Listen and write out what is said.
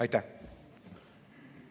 Aitäh!